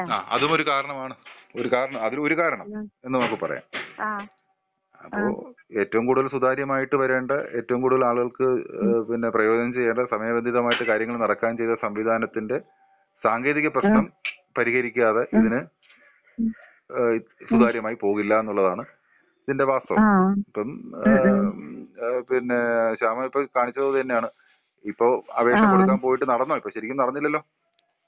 ആ അതും ഒരു കാരണമാണ്, ഒരു കാരണം അതും ഒരു കാരണം എന്ന് നമുക്ക് പറയാം. അപ്പൊ ഏറ്റവും കൂടുതൽ സുതാര്യമായിട്ട് വരേണ്ട, ഏറ്റവും കൂടുതൽ ആളുകൾക്ക് ഏ, പിന്നെ പ്രയോജനം ചെയ്യേണ്ട, സമയബന്ധിതമായിട്ട് കാര്യങ്ങൾ നടക്കാൻ ചെയ്ത സംവിധാനത്തിന്റെ സാങ്കേതിക പ്രശ്നം പരിഹരിക്കാതെ ഇതിന് ഏഹ് സുതാര്യമായി പോവില്ലാന്നുള്ളതാണ് ഇതിന്റെ വാസ്തവം അപ്പം ഏഹ് , പിന്നെ ശാമ ഇപ്പൊ കാണിച്ചതും അത് തന്നെയാണ്.ഇപ്പൊ അപേക്ഷ കൊടുക്കാൻ പോയിട്ട് നടന്നോ ഇപ്പൊ? ശരിക്കും നടന്നില്ലല്ലോ?